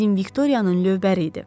Bizim Viktoriyanın lövbəri idi.